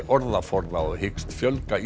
orðaforða og hyggst fjölga